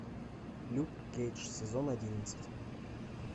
люк кейдж сезон одиннадцать